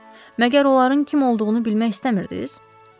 Məgər onların kim olduğunu bilmək istəmirdiniz?